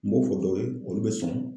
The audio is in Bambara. N b'o fɔ dɔw ye olu bɛ sɔn.